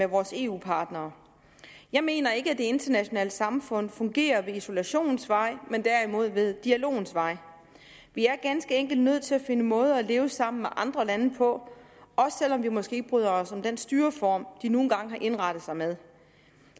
vores eu partnere jeg mener ikke at det internationale samfund fungerer ad isolationens vej men derimod ved dialogens vej vi er ganske enkelt nødt til at finde måder at leve sammen med andre lande på også selv om vi måske ikke bryder os om den styreform de nu engang har indrettet sig med